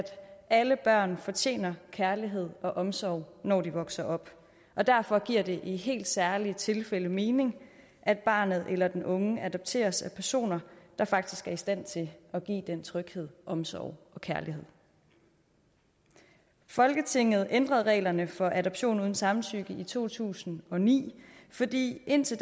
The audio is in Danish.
alle børn fortjener kærlighed og omsorg når de vokser op og derfor giver det i helt særlige tilfælde mening at barnet eller den unge adopteres af personer der faktisk er i stand til at give den tryghed omsorg og kærlighed folketinget ændrede reglerne for adoption uden samtykke i to tusind og ni fordi der indtil